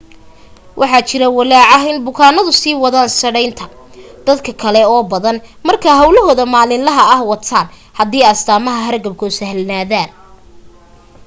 waxa jira walaac ah in bukaanadu sii wadan sadhaynta dad kale oo badan marka hawlahooda maalinlaha ah wataan hadii astaamaha hargabku sahlanaadaan